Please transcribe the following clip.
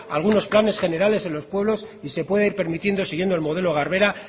algunos planes generales en los pueblos y se pueda ir permitiendo siguiendo el modelo garbera